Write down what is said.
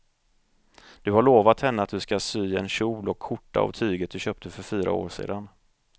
Du har lovat henne att du ska sy en kjol och skjorta av tyget du köpte för fyra år sedan.